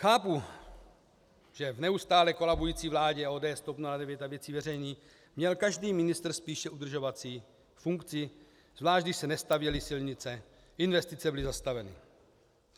Chápu, že v neustále kolabující vládě ODS, TOP 09 a Věcí veřejných měl každý ministr spíše udržovací funkci, zvlášť když se nestavěly silnice, investice byly zastaveny.